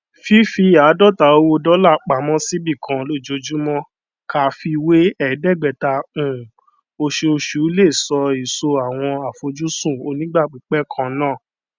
fífi àádọta owó dọlà pamọ síbì kan lójoojúmọ ká fiwé ẹgbẹta ní um oṣooṣù lè so èso àwọn àfojúsùn onígbàpípẹ kannáà